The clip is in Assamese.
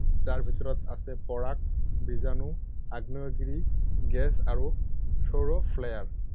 যাৰ ভিতৰত আছে পৰাগ, বীজাণু, আগ্নেয়গিৰি গেছ আৰু সৌৰ ফ্লেয়াৰ।